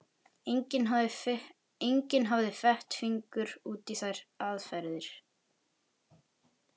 Enginn hafði fett fingur út í þær aðferðir.